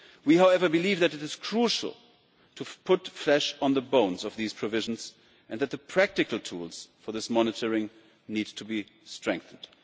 However, we believe that it is crucial to put flesh on the bones of these provisions and that the practical tools for this monitoring need to be strengthened.